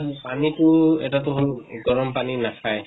পানী টো এটা টো হʼল গৰম পানী নাখায়।